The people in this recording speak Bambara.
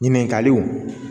Ɲininkaliw